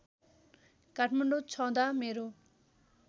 काठमाडौँ छँदा मेरो